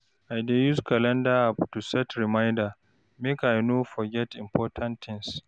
I dey use calendar app to set reminder, make I no forget important tins.